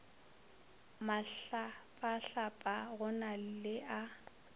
mahlapahlapa go na le a